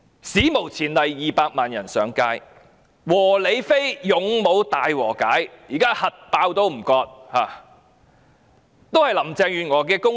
史無前例有200萬人上街，"和理非"與"勇武"大和解，現在"核爆也不割席"，也是林鄭月娥的"功勞"。